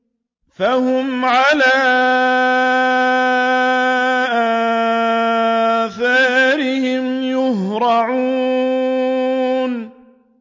فَهُمْ عَلَىٰ آثَارِهِمْ يُهْرَعُونَ